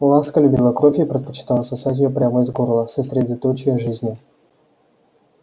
ласка любила кровь и предпочитала сосать её прямо из горла сосредоточия жизни